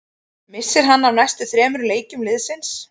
Missir hann af næstu þremur leikjum liðsins.